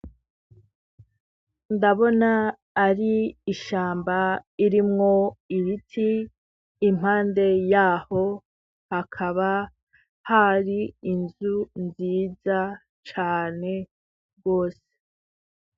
Ndabona ari ishamba irimwo ibiti impande yaho hakaba hari inzu nziza cane rwose.